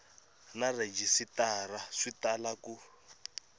na rhejisitara swi tala ku